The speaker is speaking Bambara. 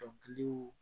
Dɔnkiliw